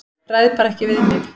Ræð bara ekki við mig.